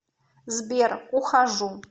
сбер ухожу